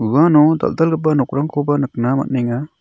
uano dal·dalgipa nokrangkoba nikna man·enga.